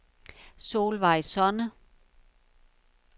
Solvejg Sonne